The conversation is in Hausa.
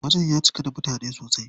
Wajen ya cika da mutane sosai.